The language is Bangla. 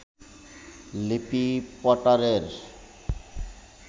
লিলি পটারের